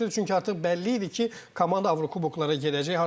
Çünki artıq bəlli idi ki, komanda Avrokuboklara gedəcək.